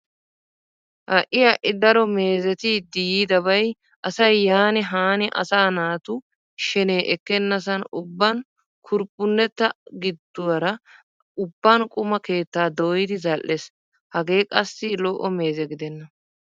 Ha'i ha'i daro meezzetettiid yiidabay asay yaani haani asaa naatu shenee ekkenasan ubban kurphphunetta giduwara ubban quma keettaa dooyid zal'ees. Hagee qassi lo'o meeze gidenna.